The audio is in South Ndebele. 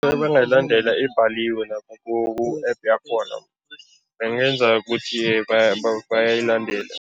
Nabangayilandela ibhaliwe lapha ku-App yakhona, bangenza ukuthi bayayilandela.